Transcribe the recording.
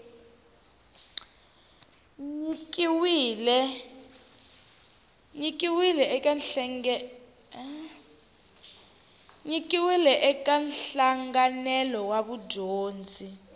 nyikiwile eka nhlanganelo wa vudyondzi